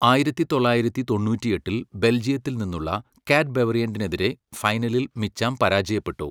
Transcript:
ആയിരത്തിത്തൊളളായിരത്തി തൊണ്ണൂറ്റിയെട്ടിൽ ബെൽജിയത്തിൽ നിന്നുള്ള കാറ്റ്ബവ്റിയൻഡനെതിരെ ഫൈനലിൽ മിച്ചാം പരാജയപ്പെട്ടു.